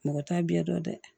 Mɔgɔ t'a biɲɛ dɔn dɛ